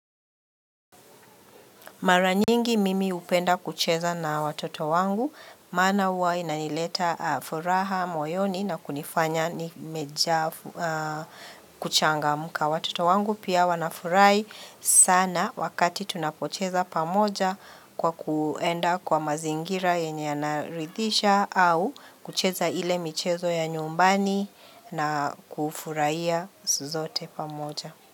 Mara nyingi mimi hupenda kucheza na watoto wangu, maana huwa inaileta furaha moyoni na kunifanya ni mejaa kuchangamka watoto wangu. Pia wanafurahi sana wakati tunapocheza pamoja kwa kuenda kwa mazingira yenye yanarithisha au kucheza ile michezo ya nyumbani na kufurahiya sote pamoja.